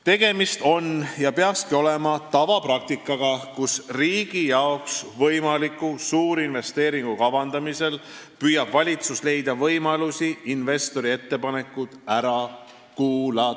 Tegemist on ja peakski olema tavapraktikaga, kus riigi jaoks võimaliku suurinvesteeringu kavandamisel püüab valitsus leida võimalusi investori ettepanekud ära kuulata.